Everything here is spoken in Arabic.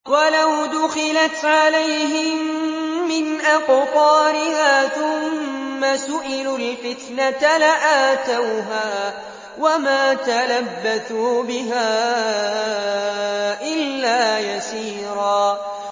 وَلَوْ دُخِلَتْ عَلَيْهِم مِّنْ أَقْطَارِهَا ثُمَّ سُئِلُوا الْفِتْنَةَ لَآتَوْهَا وَمَا تَلَبَّثُوا بِهَا إِلَّا يَسِيرًا